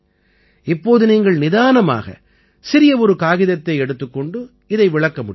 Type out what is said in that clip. இப்போது நீங்கள் நிதானமாக சிறிய ஒரு காகிதத்தைக் கொண்டு இதை விளக்க முடியும்